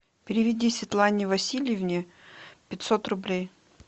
переведи светлане васильевне пятьсот рублей